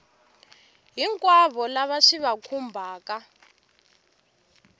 hinkwavo lava swi va khumbhaka